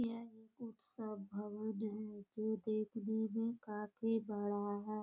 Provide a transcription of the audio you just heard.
यह एक उत्सव भवन है जो देखने में काफ़ी बड़ा है।